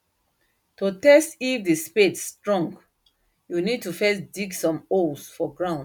to test if the spade strong you need to first dig some holes for ground